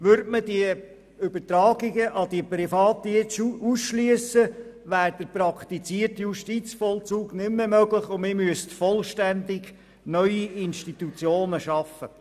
Würde man die Übertragung an Private jetzt ausschliessen, wäre der praktizierte Justizvollzug nicht mehr möglich und man müsste vollständig neue Institutionen schaffen.